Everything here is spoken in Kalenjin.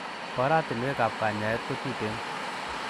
Oratinwekab kanyaet kotuten.